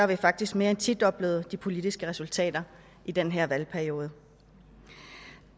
vi faktisk mere end tidoblet de politiske resultater i den her valgperiode